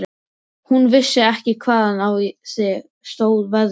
Hún vissi ekki hvaðan á sig stóð veðrið.